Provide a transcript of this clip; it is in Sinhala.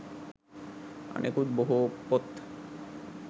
අනෙකුත් බොහෝ පොත්